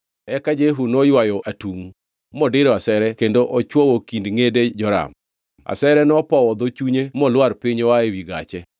Eka Jehu noywayo atungʼ modiro asere kendo ochwoyo kind ngʼede Joram. Asere nopowo dho chunye molwar piny oa ewi gache.